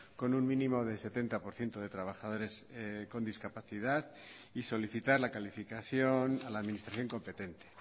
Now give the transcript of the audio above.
con un mínimo del setenta por ciento de trabajadores con discapacidad y solicitar la calificación a la administración competente